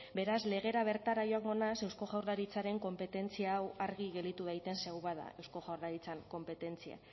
beraz legera bertara joango naiz eusko jaurlaritzaren konpetentzia hau argi geratu daiten ze hau bada eusko jaurlaritzaren konpetentzia